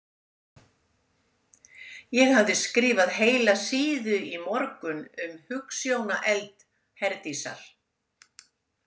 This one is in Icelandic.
Hafði skrifað heila síðu í morgun um hugsjónaeld Herdísar.